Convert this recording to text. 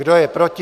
Kdo je proti?